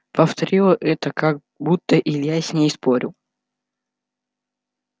повторила это как будто илья с ней спорил